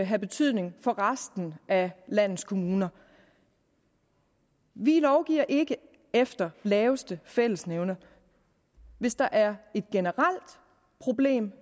have betydning for resten af landets kommuner vi lovgiver ikke efter laveste fællesnævner hvis der er et generelt problem